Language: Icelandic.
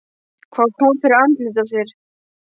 Hvað kom fyrir andlitið á þér?